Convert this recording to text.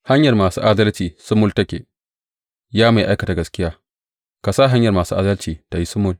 Hanyar masu adalci sumul take; Ya Mai Aikata Gaskiya, ka sa hanyar masu adalci ta yi sumul.